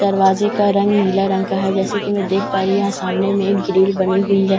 दरवाजे का रंग नीला रंग का है जैसा की मैं देख पा रही हूँ यहां सामने में एक ग्रील बनी हुई है ।